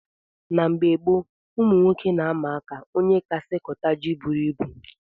Na mgbe gboo ụmụnwoke na - ama aka ónyé kasị kota jị bụrụ ịbụ